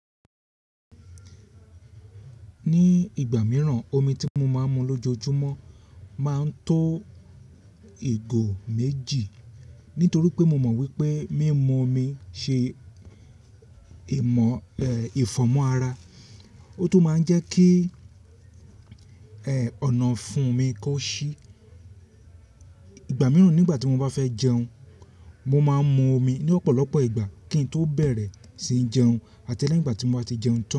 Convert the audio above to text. Ní ìgbà mìíràn, omi tí mo máa ń mu lójoojúmọ́ máa ń tó ìgò méjì. Nítorí pé mo mọ̀ wípé mímu omi ṣe ìfọ̀mọ́ ara, ó tún máa ń jẹ́ kí ọ̀nàfun mi kó ṣí. Ìgbà mìíràn nígbà tí mo bá fẹ́ jẹun, mo máa ń mu omi ní ọ̀pọ̀lọpọ̀ ìgbà kí n tó bẹ̀rẹ̀ sí jẹun àti lẹ́yi ígbà tí mo ti jẹun tán.